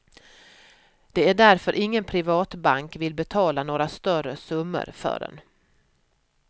Det är därför ingen privatbank vill betala några större summor för den.